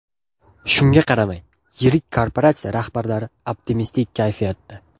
Shunga qaramay, yirik korporatsiya rahbarlari optimistik kayfiyatda.